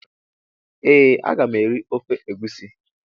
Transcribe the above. Ee a ga m eri ofe egusi.